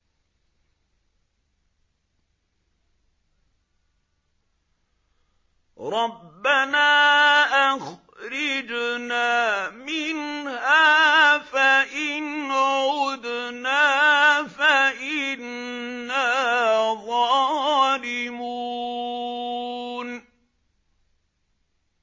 رَبَّنَا أَخْرِجْنَا مِنْهَا فَإِنْ عُدْنَا فَإِنَّا ظَالِمُونَ